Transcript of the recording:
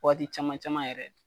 Waati caman caman yɛrɛ.